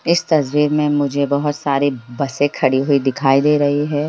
इस तस्वीर में मुझे बहुत सारी बसें खड़ी हुई दिखाई दे रही है।